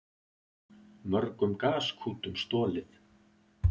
Mörgum gaskútum stolið